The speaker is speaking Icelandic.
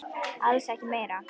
Alls ekki meira.